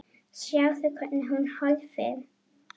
Sjáðu, hvernig hún horfir!